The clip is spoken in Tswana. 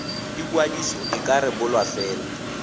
ikwadiso e ka rebolwa fela